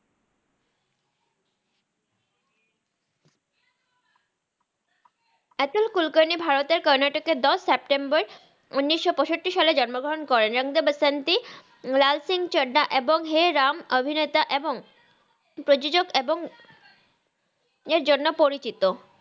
আতাল কুরকারনি ভারতের কারনাতাকের দাস সেপ্তেম্বার উনিস পাইসাত্তি সালে জানামা গ্রাহ্ন করেন রাং দে বাসান্তি লাল সিংহ ছাদ্দা এবং হে রাম অভিনেতা বাওং প্রজত এবং এর জন্নয় পরিচিত